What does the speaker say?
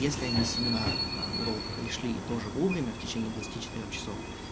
если они семинар на урок пришли и тоже время в течении двадцати четырёх часов